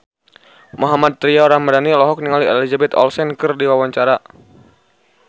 Mohammad Tria Ramadhani olohok ningali Elizabeth Olsen keur diwawancara